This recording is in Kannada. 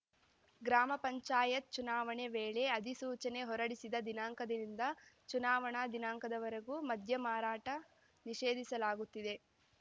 ಗ್ರಾಮಪಂಚಾಯತ್‌ ಚುನಾವಣೆ ವೇಳೆ ಅಧಿಸೂಚನೆ ಹೊರಡಿಸಿದ ದಿನಾಂಕದಿಂದ ಚುನಾವಣಾ ದಿನಾಂಕದವರೆಗೂ ಮದ್ಯ ಮಾರಾಟ ನಿಷೇಧಿಸಲಾಗುತ್ತಿದೆ